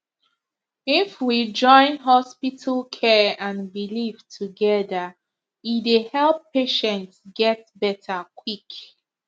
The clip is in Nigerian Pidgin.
if we join hospital care and belief together e dey help patient get better quick